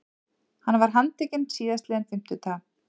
Hann var handtekinn síðastliðinn fimmtudag